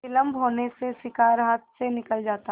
विलम्ब होने से शिकार हाथ से निकल जाता